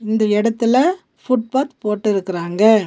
இந்த எடத்துல footpath போட்டுருக்குறாங்க.